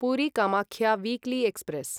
Puri Kamakhya weekly express